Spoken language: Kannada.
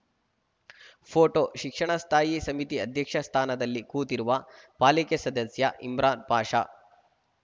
ಫೋಟೋ ಶಿಕ್ಷಣ ಸ್ಥಾಯಿ ಸಮಿತಿ ಅಧ್ಯಕ್ಷ ಸ್ಥಾನದಲ್ಲಿ ಕೂತಿರುವ ಪಾಲಿಕೆ ಸದಸ್ಯ ಇಮ್ರಾನ್‌ ಪಾಷಾ